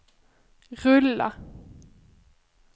rulla